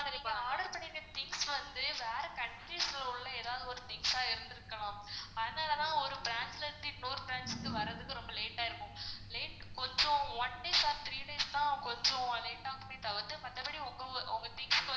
நீங்க order பண்ணிருந்த things வந்து வேற countries ல உள்ள ஏதாவது ஒரு things ஆ இருந்துருக்கலாம் அதனால தான் ஒரு branch ல இருந்து இன்னொரு branch க்கு வரதுக்கு ரொம்ப late ஆயிருக்கும் late கொஞ்சம் one days or three days னா கொஞ்சம் அது வந்து மத்தபடி உங்க உங்க things